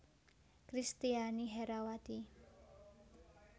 Kristiani Herrawati